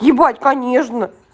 ебать конечно